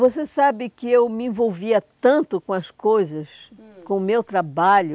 Você sabe que eu me envolvia tanto com as coisas, hum, com o meu trabalho,